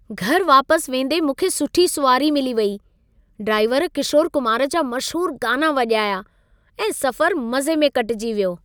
घरि वापस वेंदे मूंखे सुठी सुवारी मिली वेई। ड्राइवर किशोर कुमार जा मशहूर गाना वॼाया ऐं सफ़रु मज़े में कटिजी वियो।